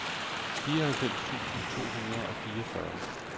fireoghalvfems tusind to hundrede og fireogfyrre